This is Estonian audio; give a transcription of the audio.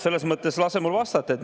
Selles mõttes, et lase mul vastata.